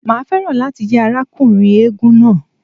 Màá fẹ́ràn láti jẹ́ arákùnrin eégún náà.